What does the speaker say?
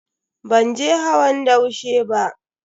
Ban je hawan daushe ba.